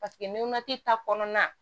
Paseke nuna ta kɔnɔna na